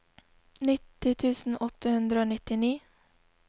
nitti tusen åtte hundre og nittini